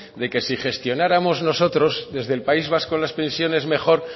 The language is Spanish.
de que si gestionáramos nosotros desde el país vasco las pensiones mejor